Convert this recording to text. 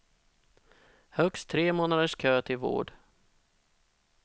Högst tre månaders kö till vård.